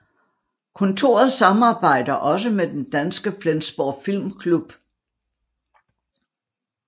Kontoret samarbejder også med den danske Flensborg Filmklub